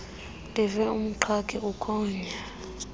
ndive umqhagi ukhonya